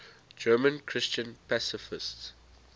german christian pacifists